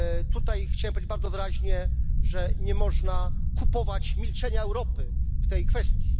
Tutaj chciałbym powiedzieć bardzo wyraźnie, że nie można kupować milczenia Europy w tej kwestii.